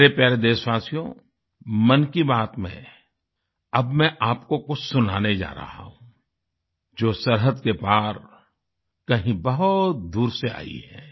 मेरे प्यारे देशवासियो मन की बात में अब मैं आपको कुछ सुनाने जा रहा हूँ जो सरहद के पार कहीं बहुत दूर से आई है